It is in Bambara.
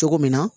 Cogo min na